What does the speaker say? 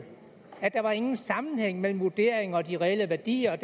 at der ingen sammenhæng var mellem vurderingerne og de reelle værdier